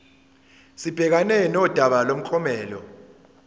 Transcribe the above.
sibhekane nodaba lomklomelo